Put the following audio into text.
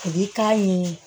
I b'i k'a ɲini